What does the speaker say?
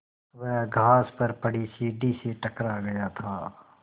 वह घास पर पड़ी सीढ़ी से टकरा गया था